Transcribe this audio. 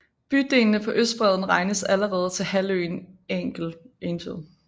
Bydelene på østbredden regnes allerede til halvøen Angel